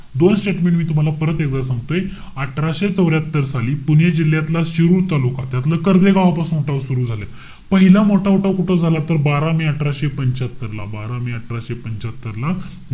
दोन statement मी तूम्हाला परत एकवेळा सांगतोय. अठराशे चौर्यात्तर साली पुणे जिल्ह्यातला शिरुड तालुका, त्यातला कर्व्हे गावापासून उठाव सुरु झाले. पहिला मोठा उठाव कुठं झाला तर बारा मे अठराशे पंच्यात्तरला. बारा मे अठराशे पंच्यात्तरला,